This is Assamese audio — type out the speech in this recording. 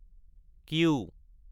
কিউ